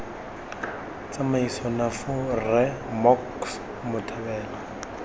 tsamaiso nafu rre mocks mothabela